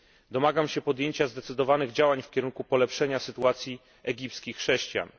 Domagam się podjęcia zdecydowanych działań w kierunku polepszenia sytuacji egipskich chrześcijan.